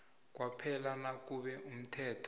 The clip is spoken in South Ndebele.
kwaphela nakube umthetho